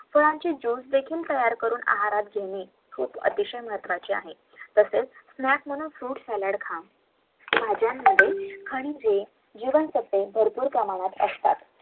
फळांचे जूस देखील करून आहारात घेणे अतिशय महत्वाचे आहे